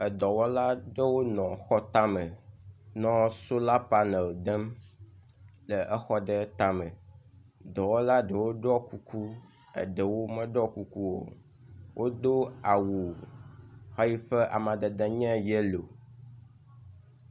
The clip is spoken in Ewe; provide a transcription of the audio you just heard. Edɔ wɔla aɖewo nɔ xɔ tame nɔ sola panel dem exɔ ɖe tame, dɔwɔla ɖewo ɖɔ kuku eye eɖewo meɖɔ kuku o, wodo awu xe yi ƒe amadede nye yellow